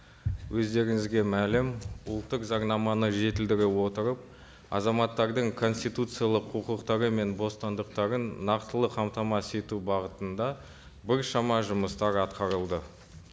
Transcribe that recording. өздеріңізге мәлім ұлттық заңнаманы жетілдіре отырып азаматтардың конституциялық құқықтары мен бостандықтарын нақтылы қамтамасыз ету бағытында біршама жұмыстар атқарылды